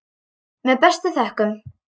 Með bestu þökkum.